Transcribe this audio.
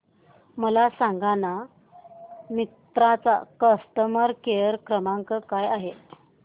मला सांगाना मिंत्रा चा कस्टमर केअर क्रमांक काय आहे